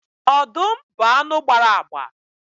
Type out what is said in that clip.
Ọdụm bụ anụ gbara agba